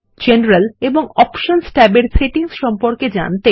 general এবং options tab এর settings সম্পর্কে জানতে